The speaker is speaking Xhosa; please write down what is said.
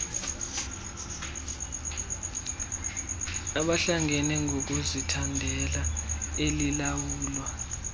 abahlangene ngokuzithandela elilawulwa